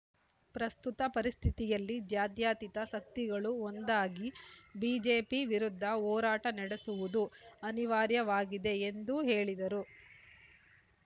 ಪ್ರಸ್ತುತ ಪರಿಸ್ಥಿತಿಯಲ್ಲಿ ಜಾತ್ಯತೀತ ಶಕ್ತಿಗಳು ಒಂದಾಗಿ ಬಿಜೆಪಿ ವಿರುದ್ಧ ಹೋರಾಟ ನಡೆಸುವುದು ಅನಿವಾರ್ಯವಾಗಿದೆ ಎಂದು ಹೇಳಿದರು